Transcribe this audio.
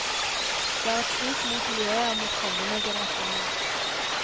Det er et svik mot miljøet og mot kommende generasjoner.